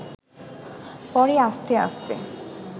পরে আস্তে আস্তে